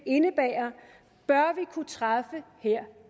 indebærer bør vi kunne træffe her